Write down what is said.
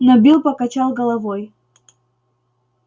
но билл покачал головой